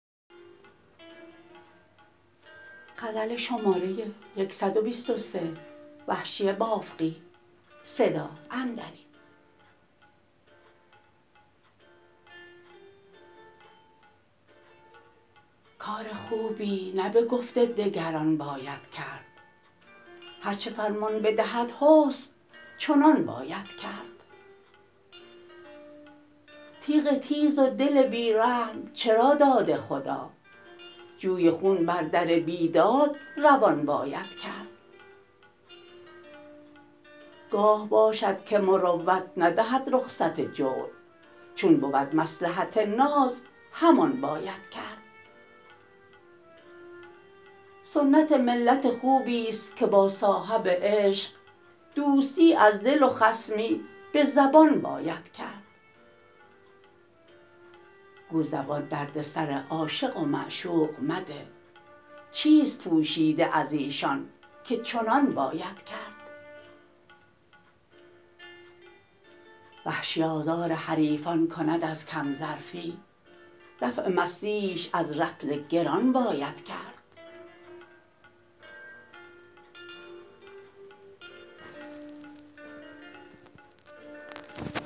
کار خوبی نه بگفت دگران باید کرد هر چه فرمان بدهد حسن چنان باید کرد تیغ تیز و دل بی رحم چرا داده خدا جوی خون بر در بیداد روان باید کرد گاه باشد که مروت ندهد رخصت جور چون بود مصلحت ناز همان باید کرد سنت ملت خوبیست که با صاحب عشق دوستی از دل و خصمی به زبان باید کرد گو زبان درد سر عاشق و معشوق مده چیست پوشیده از ایشان که چنان باید کرد وحشی آزار حریفان کند از کم ظرفی دفع بدمستیش از رطل گران باید کرد